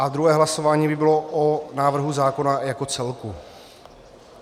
A druhé hlasování by bylo o návrhu zákona jako celku.